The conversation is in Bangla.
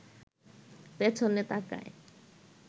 পেছনে তাকায়